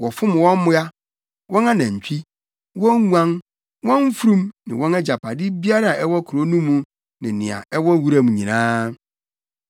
Wɔfom wɔn mmoa, wɔn anantwi, wɔn nguan, wɔn mfurum ne wɔn agyapade biara a ɛwɔ kurow no mu ne nea ɛwɔ wuram nyinaa.